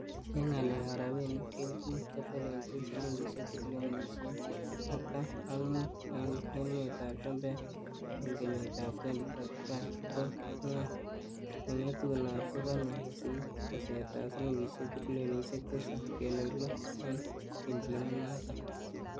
En ngalek ab rabinik, kelchin kotelelchin silingisiek triolionisie artam ak mut, en emetab chumbek en kenyitab 2035,ko ngwony nengetunot kekonye kosir tesetab silingisiek trilionisiek Tisap kenuch loo en kelchin nenoton.